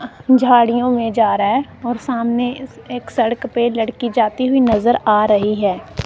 झाड़ियों में नजर आ रहा है और सामने सड़क पर एक लड़की नजर आ रही है।